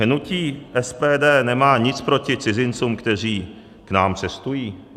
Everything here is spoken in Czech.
Hnutí SPD nemá nic proti cizincům, kteří k nám cestují.